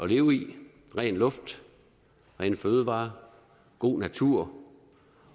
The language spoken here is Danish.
leve i ren luft rene fødevarer god natur